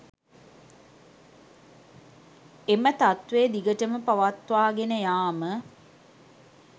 එම තත්වය දිගටම පවත්වාගෙන යාම